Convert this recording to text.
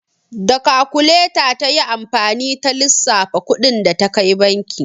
Da kakuleta ta yi amfani ta lissafa kuɗin da ta kai banki.